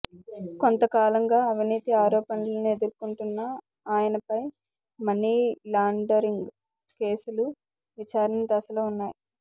కొంతకాలంగా అవినీతి ఆరోపణలు ఎదుర్కొంటున్న ఆయనపై మనీలాండరింగ్ కేసులు విచారణ దశలో ఉన్నాయి